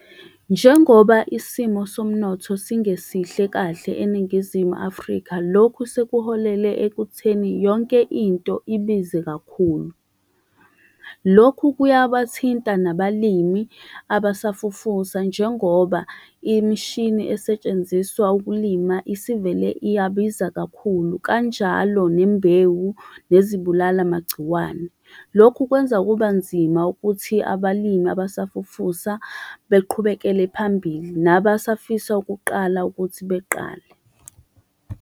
Njengoba isimo somnotho singesihle kahle eningizimu Afrika, lokhu sekuholele ekutheni yonke into ibize kakhulu. Lokhu kuyabathinta nabalimi abasafufusa, njengoba imishini esetshenziswa ukulima isivele iyabiza kakhulu kanjalo nembewu, nezibulala-magciwane. Lokhu kwenza kuba nzima ukuthi abalimi abasafufusa beqhubekele phambili, nabasafisa ukuqala ukuthi beqale.